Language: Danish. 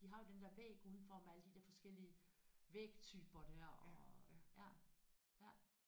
De har jo den der væg udenfor med alle de der forskellige vægtyper der og ja ja